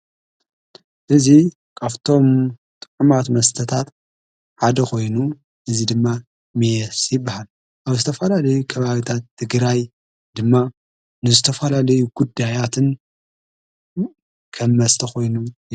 እዙ ኣፍቶም ጠዖማት መስተታት ሓደ ኾይኑ እዙይ ድማ ሜስ ይበሃል ኣብ ስተፍላ ለይ ከባሃግታት ትግራይ ድማ ንስተፍላለይ ጉድ ሃያትን ከብመስተኾይኑ።